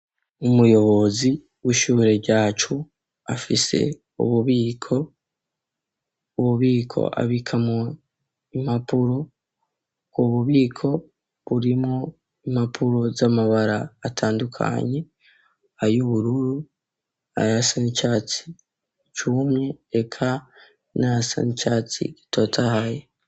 Umuyobozi w'ishure ryacu afise ububiko bw'ububiko abika mw'imapuro bw'ububiko burimwob impapuro z'amabara atandukanye ay' ubururu ayasa n'icatsi cumye eka nayasa ni catsi gitotahaye.